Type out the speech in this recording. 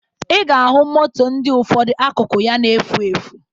Ị ga-ahụ moto ndị ụfọdụ akụkụ ya na-efu efu